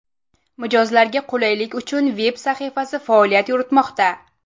Mijozlarga qulaylik uchun veb-sahifasi faoliyat yuritmoqda.